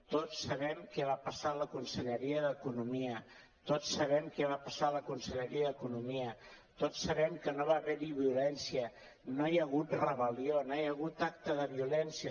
tots sabem què va passar a la conselleria d’economia tots sabem què va passar a la conselleria d’economia tots sabem que no va haver hi violència no hi ha hagut rebel·lió no hi ha hagut acte de violència